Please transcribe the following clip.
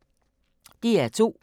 DR2